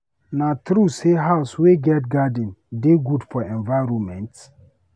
Na true sey house wey get garden dey good for environment?